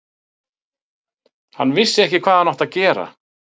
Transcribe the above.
Hann vissi ekki hvað hann átti að gera.